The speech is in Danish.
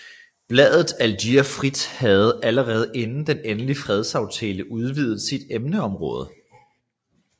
Bladet Algier Frit havde allerede inden den endelige fredsaftale udvidet sit emneområde